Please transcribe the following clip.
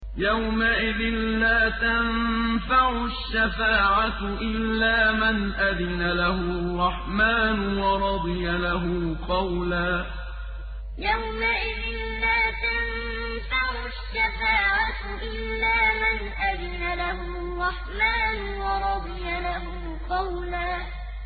يَوْمَئِذٍ لَّا تَنفَعُ الشَّفَاعَةُ إِلَّا مَنْ أَذِنَ لَهُ الرَّحْمَٰنُ وَرَضِيَ لَهُ قَوْلًا يَوْمَئِذٍ لَّا تَنفَعُ الشَّفَاعَةُ إِلَّا مَنْ أَذِنَ لَهُ الرَّحْمَٰنُ وَرَضِيَ لَهُ قَوْلًا